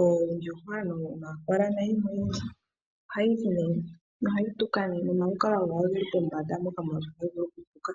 oondjuhwa, nomakola, nayimwe oyindji. Ohayi tuka, nomalukalwo gawo oge li pombanda moka hayi tuka.